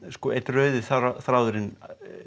einn rauði þráðurinn